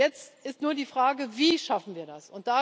Jetzt ist nur die Frage Wie schaffen wir das?